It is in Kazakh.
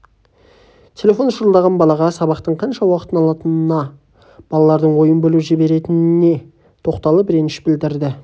телефоны шырылдаған балаға сабақтың қанша уақытын алатынына балалардың ойын бөліп жіберетініне тоқталып ренішін білдірді